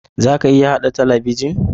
Za a iya haɗa talabijin?